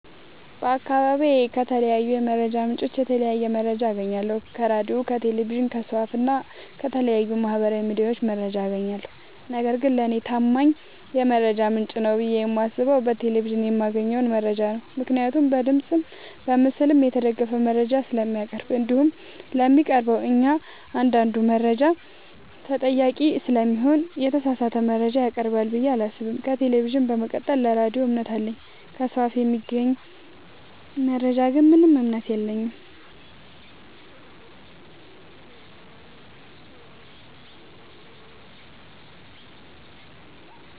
በአካባቢዬ ከተለያዩ የመረጃ ምንጮች የተለያየ መረጃ አገኛለሁ ከራዲዮ ከቴሌቪዥን ከሰው አፋ እና ከተለያዩ ማህበራዊ ሚዲያዎች መረጃ አጋኛለሁ። ነገርግን ለኔ ታማኝ የመረጃ ምንጭ ነው ብዬ የማስበው በቴሌቪዥን የማገኘውን መረጃ ነው ምክንያቱም በድምፅም በምስልም የተደገፈ መረጃ ስለሚያቀርብ። እንዲሁም ለሚያቀርበው እኛአንዳዱ መረጃ ተጠያቂ ስለሚሆን የተሳሳተ መረጃ ያቀርባል ብዬ አላሰብም። ከቴሌቪዥን በመቀጠል ለራዲዮ እምነት አለኝ። ከሰው አፍ ለሚገኝ መረጃ ግን ምንም እምነት የለኝም።